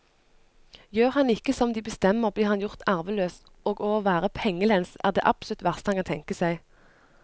Gjør han ikke som de bestemmer, blir han gjort arveløs, og å være pengelens er det absolutt verste han kan tenke seg.